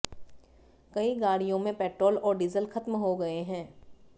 कई गाडियों में पेट्रोल और डीजल खत्म हो गए हैं